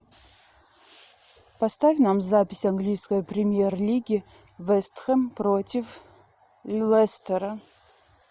поставь нам запись английской премьер лиги вест хэм против лестера